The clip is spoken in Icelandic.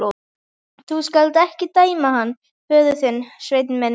Þú skalt ekki dæma hann föður þinn, Sveinn minn.